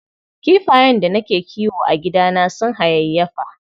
Kifayen da nake kiwo a gidana sun hayayyafa.